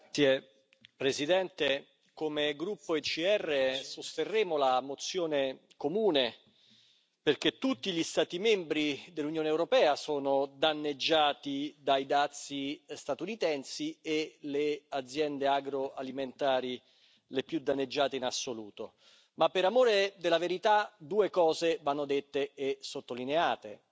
Signora Presidente, onorevoli colleghi, come gruppo ECR sosterremo la proposta di risoluzione comune perché tutti gli Stati membri dell'Unione europea sono danneggiati dai dazi statunitensi e le aziende agroalimentari sono le più danneggiate in assoluto. Ma per amore della verità due cose vanno dette e sottolineate.